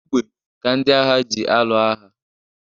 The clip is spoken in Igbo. Egbe ka ndị agha ji alụ agha.